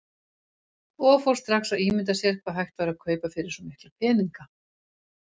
Og fór strax að ímynda sér hvað hægt væri að kaupa fyrir svo mikla peninga.